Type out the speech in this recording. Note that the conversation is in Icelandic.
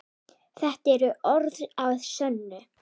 Þetta eru orð að sönnu.